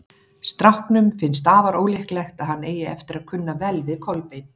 Stráknum finnst afar ólíklegt að hann eigi eftir að kunna vel við Kolbein.